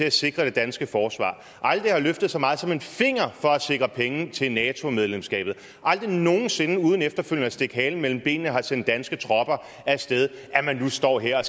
at sikre det danske forsvar aldrig har løftet så meget som en finger for at sikre penge til nato medlemskabet og aldrig nogen sinde uden efterfølgende at stikke halen mellem benene har sendt danske tropper af sted nu står her